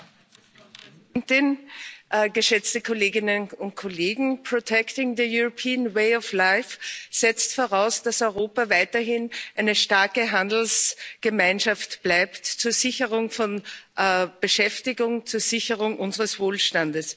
Frau Präsidentin, geschätzte Kolleginnen und Kollegen! setzt voraus, dass Europa weiterhin eine starke Handelsgemeinschaft bleibt, zur Sicherung von Beschäftigung, zur Sicherung unseres Wohlstandes.